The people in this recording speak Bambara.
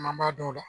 An man dɔn o la